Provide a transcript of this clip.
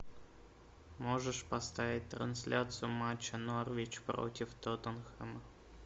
можешь поставить трансляцию матча норвич против тоттенхэма